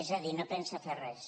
és a dir no pensa fer res